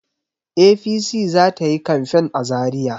APC za ta yi kamfen za Zariya.